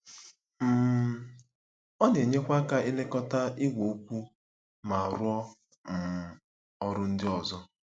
um Ọ na-enyekwa aka ilekọta igwe okwu ma rụọ um ọrụ ndị ọzọ.